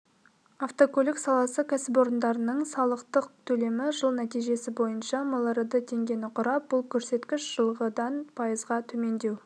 автокөлік саласы кәсіпорындарының салықтық төлемі жыл нәтижесі бойынша миллиард теңгені құрап бұл көрсеткіш жылғыдан пайызға төмендеу